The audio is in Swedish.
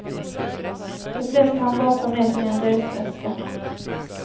De flesta hann bara ta med sig en resväska.